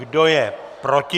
Kdo je proti?